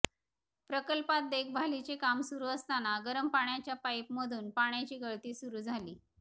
प्रकल्पात देखभालीचे काम सुरु असताना गरम पाण्याच्या पाईपमधून पाण्याची गळती सुरु झाली